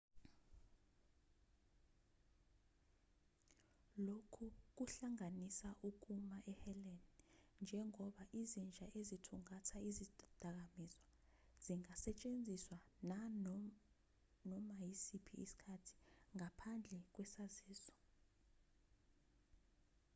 lokhu kuhlanganisa ukuma eheleni njengoba izinja ezithungatha izidakamizwa zingasetshenziswa nganoma isiphi isikhathi ngaphandle kwesaziso